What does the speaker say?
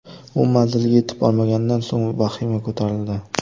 U manzilga yetib bormaganidan so‘ng vahima ko‘tarildi.